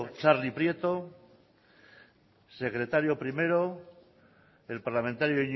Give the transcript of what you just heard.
txarli prieto secretario primero el parlamentario